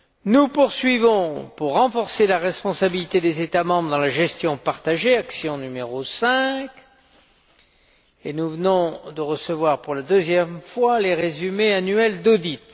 Nous continuons à renforcer la responsabilité des États membres dans la gestion partagée action n° 5 et nous venons de recevoir pour la deuxième fois les résumés annuels d'audit.